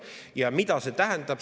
Ja mida see tähendab?